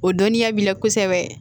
O dɔnniya b'i la kosɛbɛ